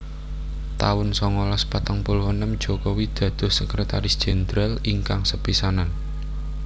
taun songolas patang puluh enem Jokowi dados Sekretaris Jendral ingkang sepisanan